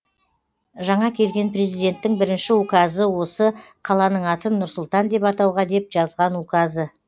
жаңа келген президенттің бірінші указы осы қаланың атын нұр сұлтан деп атауға деп жазған указы